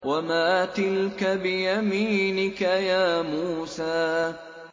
وَمَا تِلْكَ بِيَمِينِكَ يَا مُوسَىٰ